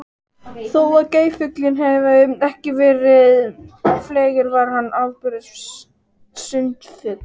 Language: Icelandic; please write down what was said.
Þó að geirfuglinn hafi ekki verið fleygur var hann afburða sundfugl.